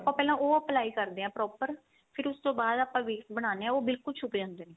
ਆਪਾਂ ਪਹਿਲਾਂ ਉਹ apply ਕਰਦੇ ਆ proper ਫ਼ਿਰ ਉਸ ਤੋਂ ਬਾਅਦ ਆਪਾਂ base ਬਣਾਨੇ ਆ ਉਹ ਬਿਲਕੁਲ ਛੁਪ ਜਾਂਦਾ